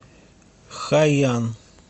хайян